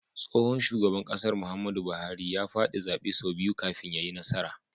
Tsohon shugaban ƙasar Muhammadu buhari a fadi zabe sau biyu kafin yayi nasara